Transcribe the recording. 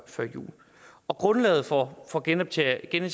jul grundlaget for for genetableringen